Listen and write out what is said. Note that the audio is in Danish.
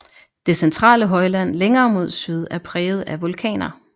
Det centrale højland længere mod syd er præget af vulkaner